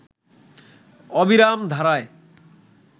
অবিরাম ধারায়